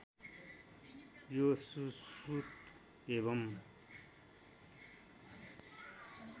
यो सुश्रुत एवं